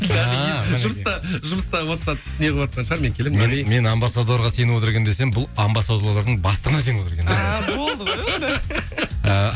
ааа жұмыста жұмыста уатсап неғыватқан шығар мен келем нағи мен амбассадорға сеніп отыр екен десем бұл амбассадорлардың бастығына сеніп отыр екен а болды ғой онда ааа